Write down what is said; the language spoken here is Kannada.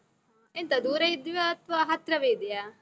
ಎಂತ ದೂರ ಇದ್ವಾ, ಅಥ್ವಾ ಹತ್ರವೇ ಇದಿಯಾ?